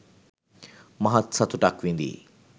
මහත් සතුටක් විඳීයි.